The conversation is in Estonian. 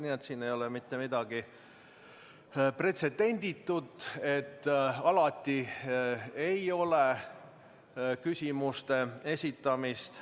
Nii et siin ei ole mitte midagi pretsedenditut, et alati ei ole küsimuste esitamist.